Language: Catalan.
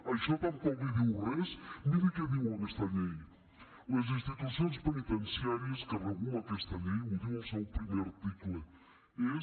això tampoc li diu res miri què diu aquesta llei les institucions penitenciàries que regula aquesta llei ho diu el seu primer article és